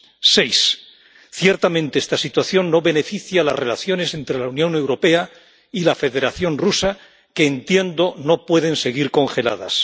Seis, ciertamente esta situación no beneficia a las relaciones entre la Unión Europea y la Federación Rusa, que entiendo no pueden seguir congeladas.